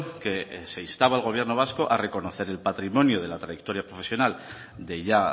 que se instaba al gobierno vasco a reconocer el patrimonio de la trayectoria profesional de ya